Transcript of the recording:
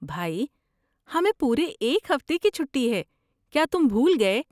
بھائی، ہمیں پورے ایک ہفتے کی چھٹی ہے، کیا تم بھول گئے؟